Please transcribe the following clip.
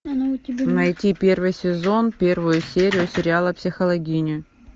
найти первый сезон первую серию сериала психологини